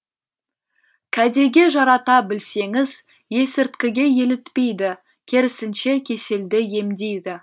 кәдеге жарата білсеңіз есірткіге елітпейді керісінше кеселді емдейді